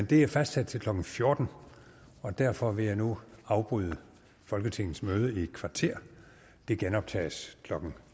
det er fastsat til klokken fjorten og derfor vil jeg nu afbryde folketingets møde i et kvarter det genoptages klokken